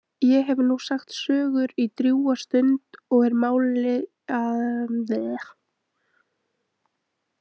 Ég hef nú sagt sögur í drjúga stund og er mál að linni.